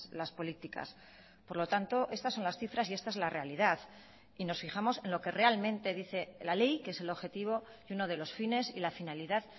las políticas por lo tanto estas son las cifras y esta es la realidad y nos fijamos en lo que realmente dice la ley que es el objetivo y uno de los fines y la finalidad